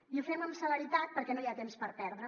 i ho fem amb celeritat perquè no hi ha temps per perdre